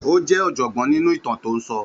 Ó jẹ́ ọ̀jọ̀gbọ́n nínú ìtàn tó ń sọ.